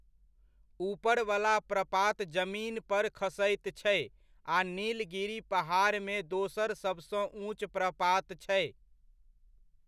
ऊपरवला प्रपात जमीन पर खसैत छै आ नीलगिरि पहाड़मे दोसर सबसँ ऊँच प्रपात छै।